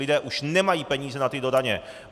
Lidé už nemají peníze na tyto daně.